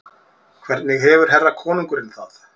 Hvernig hefur herra konungurinn það?